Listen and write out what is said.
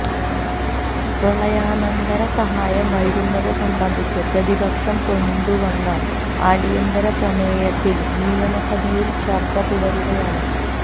പ്രളയാനന്തര സഹായം വൈകുന്നത് സംബന്ധിച്ച് പ്രതിപക്ഷം കൊണ്ടുവന്ന അടിയന്തര പ്രമേയത്തില് നിയമസഭയില് ചര്ച്ച തുടരുകയാണ്